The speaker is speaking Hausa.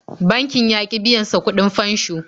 Bankin ya ƙi biyan sa kuɗin fansho.